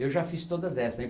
Eu já fiz todas essas.